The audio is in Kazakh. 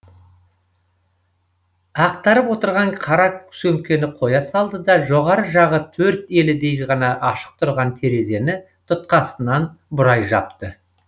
ақтарып отырған қара сөмкені қоя салды да жоғарғы жағы төрт елідей ғана ашық тұрған терезені тұтқасынан бұрай жапты